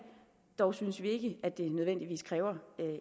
dog synes vi ikke at det nødvendigvis kræver